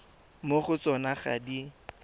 mo go tsona ga di